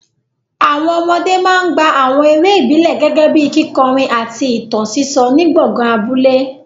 Àwọn ọmọdé máa ń gbá àwọn eré ìbílẹ̀ gẹ́gẹ́ bíi kíkọrin àti ìtàn sísọ ní gbọ̀ngàn abúlé.